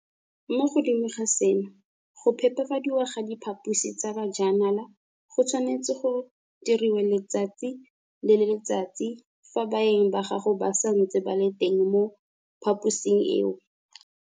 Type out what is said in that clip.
Mo godimo ga seno, go phepafadiwa ga diphaposi tsa bajanala go tshwanetswe go diriwe letsatsi le letsatsi fa baeng ba gago ba santse ba le teng mo phaposing eo.